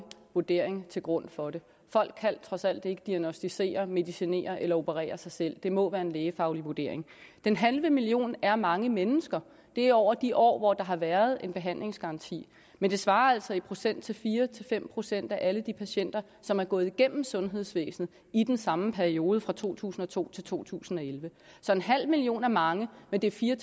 vurdering til grund for det folk kan trods alt ikke diagnosticere medicinere eller operere sig selv det må være en lægefaglig vurdering den halve million er mange mennesker det er over de år hvor der har været en behandlingsgaranti men det svarer altså i procent til fire fem procent af alle de patienter som er gået igennem sundhedsvæsenet i den samme periode nemlig fra to tusind og to til to tusind og elleve så en halv million er mange men det er fire